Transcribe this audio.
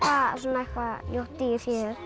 eitthvað ljótt dýr hér